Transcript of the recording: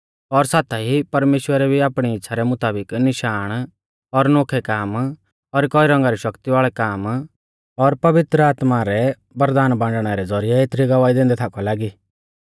और साथाई परमेश्‍वरै भी आपणी इच़्छ़ा रै मुताबिक निशाण और नोखै काम और कई रौंगा रै शक्ति वाल़ै काम और पवित्र आत्मा रै वरदान बाण्डणा रै ज़ौरिऐ एथरी गवाही दैंदै थाकौ लागी